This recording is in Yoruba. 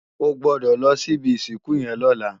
Ò gbòdò lò si ibi isinkú yèn lòlá